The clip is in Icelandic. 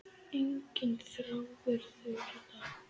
Enginn þráður þurr í dag.